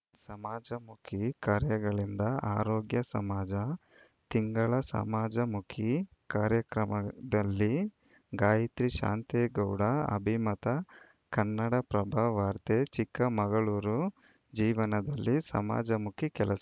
edited ಸಮಾಜಮುಖಿ ಕಾರ್ಯಗಳಿಂದ ಆರೋಗ್ಯ ಸಮಾಜ ತಿಂಗಳ ಸಮಾಜಮುಖಿ ಕಾರ್ಯಕ್ರಮದಲ್ಲಿ ಗಾಯತ್ರಿ ಶಾಂತೇಗೌಡ ಅಭಿಮತ ಕನ್ನಡಪ್ರಭ ವಾರ್ತೆ ಚಿಕ್ಕಮಗಳೂರು ಜೀವನದಲ್ಲಿ ಸಮಾಜಮುಖಿ ಕೆಲಸ